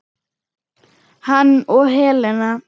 Hann og Helena.